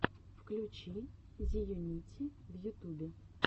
включи зеюнити в ютубе